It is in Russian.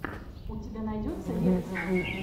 у тебя найдется лекция